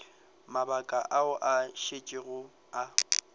mabaka ao a šetšego a